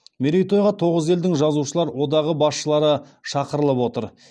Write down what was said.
мерейтойға тоғыз елдің жазушылар одағы басшылары шақырылып отыр